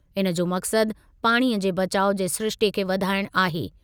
इनजो मक़सदु पाणीअ जे बचाउ जे सिरिश्ते खे वधाइण आहे।